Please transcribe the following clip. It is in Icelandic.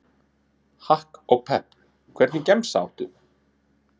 Hakk og Pepp Hvernig gemsa áttu?